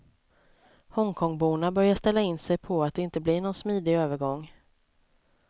Hongkongborna börjar ställa in sig på att det inte blir någon smidig övergång.